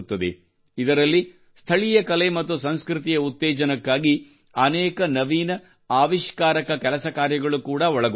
ಇದರಲ್ಲಿ ಸ್ಥಳೀಯ ಕಲೆ ಮತ್ತು ಸಂಸ್ಕೃತಿಯ ಉತ್ತೇಜನಕ್ಕಾಗಿ ಅನೇಕ ನವೀನ ಆವಿಷ್ಕಾರಕ ಕೆಲಸ ಕಾರ್ಯಗಳು ಕೂಡಾ ಒಳಗೊಂಡಿರುತ್ತವೆ